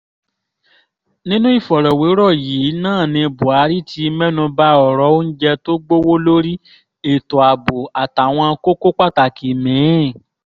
nínú ìfọ̀rọ̀wérọ̀ yìí náà ni buhari ti mẹ́nubba ọ̀rọ̀ oúnjẹ tó gbowó lérí ètò ààbò àtàwọn kókó pàtàkì mí-ín